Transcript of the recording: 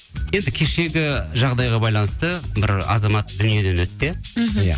енді кешегі жағдайға байланысты бір азамат дүниеден өтті иә мхм иә